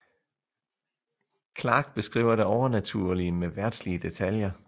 Clarke beskriver det overnaturlige med verdslige detaljer